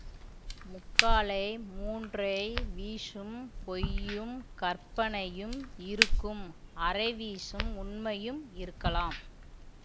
முக்காலே மூன்றை வீசும் பொய்யும் கற்பனையும் இருக்கும் அரை வீசும் உண்மையும் இருக்கலாம்